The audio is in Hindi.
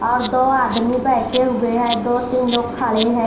और दो आदमी बैठे हुए हैं दो तीन लोग खड़े हैं।